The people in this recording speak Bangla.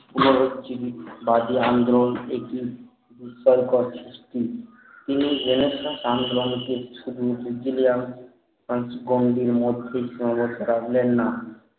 উদারকজিবি বা যে আন্দোলন একি তিনি রেনেসাঁস আন্দোলন ছুটমুখী